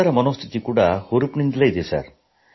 ಎಲ್ಲರ ಮನಃಸ್ಥಿತಿ ಹುರುಪಿನಿಂದಿದೆ